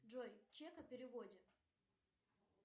джой чек о переводе